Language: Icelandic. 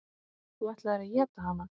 Þú ætlaðir að éta hana.